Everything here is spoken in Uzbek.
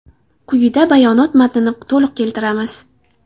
Quyida bayonot matnini to‘liq keltiramiz.